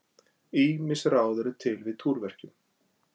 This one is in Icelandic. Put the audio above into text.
Ýmis ráð eru til við túrverkjum.